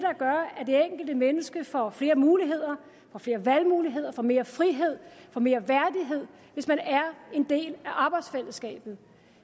enkelte menneske får flere muligheder får flere valgmuligheder får mere frihed får mere værdighed hvis man er en del af arbejdsfællesskabet